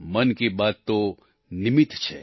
મન કી બાત તો નિમિત્ત છે